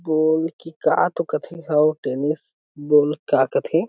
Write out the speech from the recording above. गोल की का तो कथे हउ टेनिस बॉल का कथे।